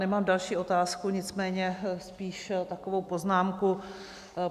Nemám další otázku, nicméně spíš takovou poznámku.